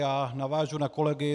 Já navážu na kolegy.